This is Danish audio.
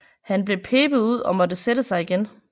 Han blev pebet ud og måtte sætte sig igen